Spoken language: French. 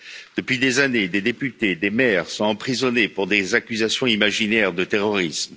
Depuis des années, des députés et des maires sont emprisonnés pour des accusations imaginaires de terrorisme.